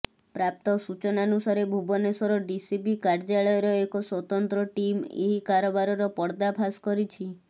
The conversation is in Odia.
ପ୍ରାପ୍ତ ସୂଚନାନୁସାରେ ଭୁବନେଶ୍ୱର ଡିସିପି କାର୍ଯ୍ୟାଳୟର ଏକ ସ୍ୱତନ୍ତ୍ର ଟିମ୍ ଏହି କାରବାରର ପର୍ଦାଫାସ୍ କରିଛି